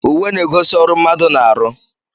Uwe na-egosi ọrụ mmadụ na-aru